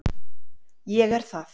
Ég er það.